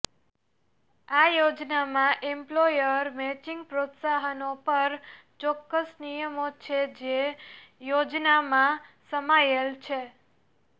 આ યોજનામાં employer matching પ્રોત્સાહનો પર ચોક્કસ નિયમો છે જે યોજનામાં સમાયેલ છે